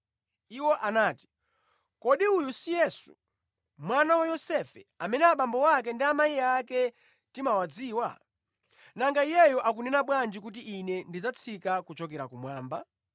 Iwo anati, “Kodi uyu si Yesu, mwana wa Yosefe, amene abambo ake ndi amayi ake timawadziwa? Nanga Iyeyu akunena bwanji kuti, ‘Ine ndinatsika kuchokera kumwamba?’ ”